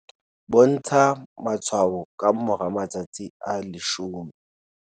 Bontsha matshwao ka moramatsatsi a 10?